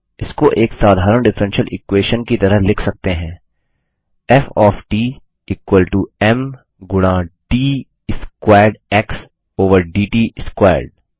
इसको एक साधारण डिफ्फ्रेंशियल इक्वेशन की तरह लिख सकते हैं F of t equal to m गुणा d squared x over dt squared